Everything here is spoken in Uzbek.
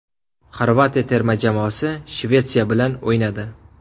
Xorvatiya terma jamoasi Shvetsiya bilan o‘ynadi.